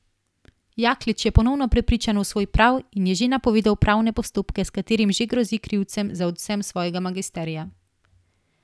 Jaklič je ponovno prepričan v svoj prav in je že napovedal pravne postopke s katerimi že grozi krivcem za odvzem svojega magisterija.